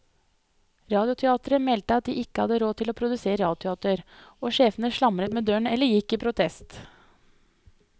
Radioteateret meldte at de ikke hadde råd til å produsere radioteater, og sjefene slamret med dørene eller gikk i protest.